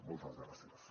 moltes gràcies